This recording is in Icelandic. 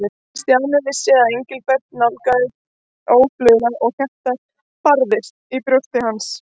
Stjáni vissi að Engilbert nálgaðist óðfluga og hjartað barðist í brjósti hans.